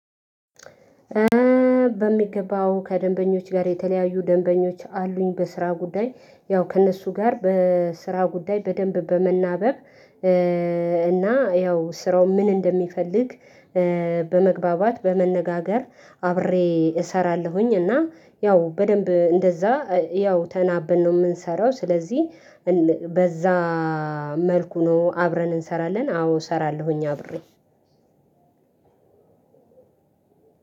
በሚገባው ከደንበኞች ጋር የተለያዩ ደንበኞች አሉኝ በስራ ጉዳይ ያው ከእነሱ ጋር በስራ ጉዳይ በደንብ በመናበብ። እና ያው ስራው ምን እንደሚፈልግ በ በመግባባት በመነጋገር አብሬ እሰራለሁኝ እና ያው በደንብ እንደዛ ያው ተናበን ነው የምንሰራው ስለዚህ በዛ መልኩ ነው አብረን እንሰራለን። አዎ እሰራለሁኝ አብሬ